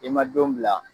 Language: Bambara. I ma don bila